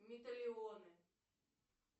металионы